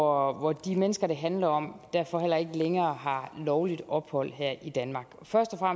hvor de mennesker det handler om derfor heller ikke længere har lovligt ophold her i danmark først og